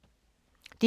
DR2